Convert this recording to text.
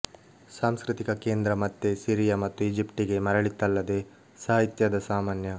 ಸಾಂಸ್ಕೃತಿಕ ಕೇಂದ್ರ ಮತ್ತೆ ಸಿರಿಯ ಮತ್ತು ಈಜಿಪ್ಟಿಗೆ ಮರಳಿತಲ್ಲದೆ ಸಾಹಿತ್ಯದ ಸಾಮಾನ್ಯ